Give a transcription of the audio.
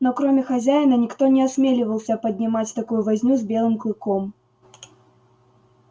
но кроме хозяина никто не осмеливался поднимать такую возню с белым клыком